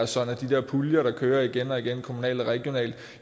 sådan at de puljer der kører igen og igen kommunalt og regionalt